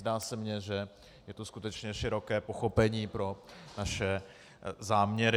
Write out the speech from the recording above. Zdá se mně, že je tu skutečně široké pochopení pro naše záměry.